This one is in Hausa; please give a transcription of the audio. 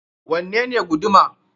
Wanne ne guduma?